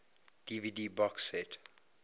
dvd box set